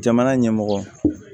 Jamana ɲɛmɔgɔ